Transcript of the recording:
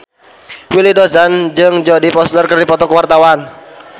Willy Dozan jeung Jodie Foster keur dipoto ku wartawan